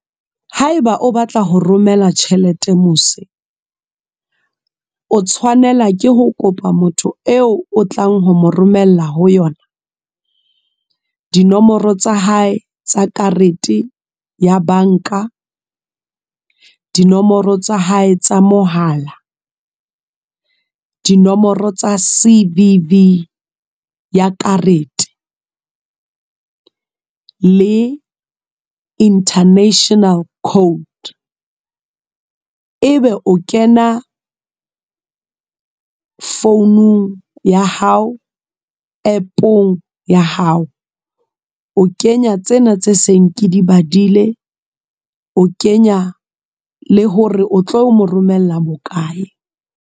Haeba o batla ho romela tjhelete mose. O tshwanela ke ho kopa motho eo o tlang ho mo romella ho yona. Dinomoro tsa hae, tsa karete ya banka. Dinomoro tsa hae tsa mohala. Dinomoro tsa C_V_V ya karete. Le international code. E be o kena founung ya hao. App-ong ya hao. O kenya tsena tse seng ke di badile, o kenya le hore o tlo mo romella bokae.